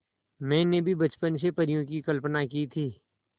मैंने भी बचपन से परियों की कल्पना की थी